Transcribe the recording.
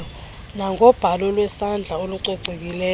nangobhalo lwesandla olucocekileyo